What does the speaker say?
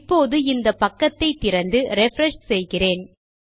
இப்போது இந்த பக்கத்தை திறந்து ரிஃப்ரெஷ் செய்கிறேன்